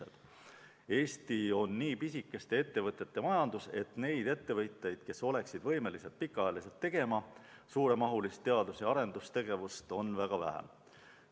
Eestis on nii pisikeste ettevõtete majandus, et neid ettevõtteid, kes oleksid võimelised tegema pikka aega suuremahulist teadus- ja arendustegevust, on väga vähe.